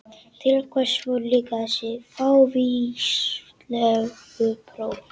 Til hvers voru líka þessi fávíslegu próf?